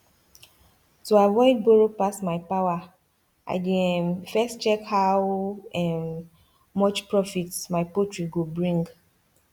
to avoid borrow pass my power i dey um first check how um much profit my poultry go bring